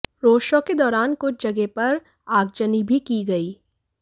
road show के दौरान कुछ जगह पर आगजनी भी की गयी